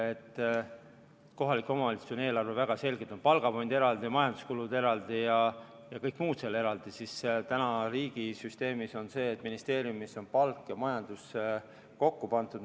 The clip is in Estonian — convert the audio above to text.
Kui kohalikel omavalitsustel on eelarves väga selgelt palgafond eraldi, majanduskulud eraldi ja kõik muud kulud eraldi, siis täna riigisüsteemis on see, et ministeeriumis on palk ja majandus kokku pandud.